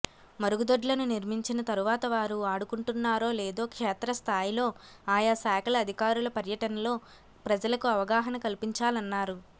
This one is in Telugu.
మరుగుదొడ్లను నిర్మి ంచిన తరువాత వారు వాడుకుంటున్నారో లేదో క్షేత్రస్థాయిలో ఆయా శాఖల అధికారుల పర్యటనలో ప్రజలకు అవగాహన కల్పించాలన్నారు